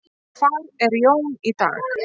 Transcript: Hvar er Jón í dag?